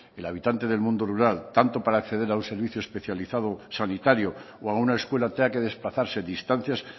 el habitante del mundo rural tanto para acceder a un servicio especializado sanitario o a una escuela tenga que desplazarse distancias